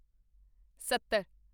ਸੱਤਰ